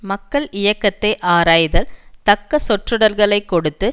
மக்கள் இயக்கத்தை ஆராய்தல் தக்க சொற்றொடர்களை கொடுத்து